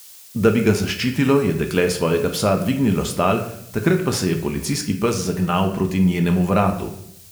Da bi ga zaščitilo, je dekle svojega psa dvignilo s tal, takrat pa se je policijski pes zagnal proti njenemu vratu.